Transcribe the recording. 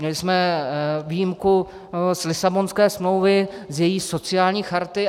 Měli jsme výjimku z Lisabonské smlouvy, z její sociální charty.